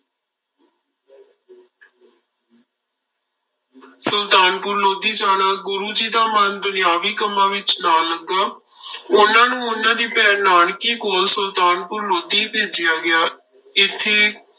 ਸੁਲਤਾਨਪੁਰ ਲੋਧੀ ਜਾਣਾ, ਗੁਰੂ ਜੀ ਦਾ ਮਨ ਦੁਨਿਆਵੀ ਕੰਮਾਂ ਵਿੱਚ ਨਾ ਲੱਗਾ ਉਹਨਾਂ ਨੂੰ ਉਹਨਾਂ ਦੀ ਭੈਣ ਨਾਨਕੀ ਕੋਲ ਸੁਲਤਾਨਪੁਰ ਲੋਧੀ ਭੇਜਿਆ ਗਿਆ, ਇੱਥੇ